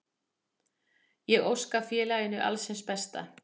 Ég óska félaginu alls hins besta.